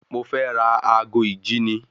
Mo fẹ́ ra ago ìjíni